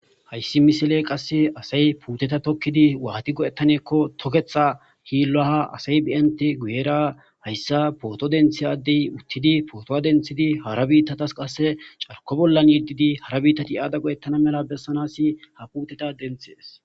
Hayssi misile qasse asay puuteta tokkidi waati godettanekko toketha hiillaha asay biente guyera hayssa pooto denthi addey uttidi pootowa denthidi hara biittatas qasse carko bollan yiddidi hara biittati aada go7ettana mela bessanasi ha puuteta denthees.